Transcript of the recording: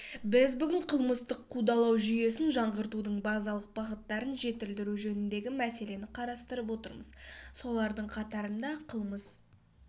біз бүгін қылмыстық қудалау жүйесін жаңғыртудың базалық бағыттарын жетілдіру жөніндегі мәселені қарастырып отырмыз солардың қатарында қылмыс